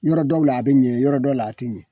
Yɔrɔ dɔw la a be ɲɛ yɔrɔ dɔ la aa te ɲɛ.